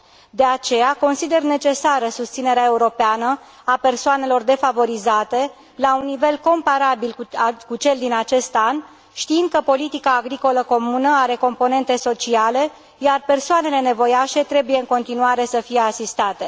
De aceea, consider necesară susținerea europeană a persoanelor defavorizate la un nivel comparabil cu cel din acest an, știind că politica agricolă comună are componente sociale, iar persoanele nevoiașe trebuie în continuare să fie asistate.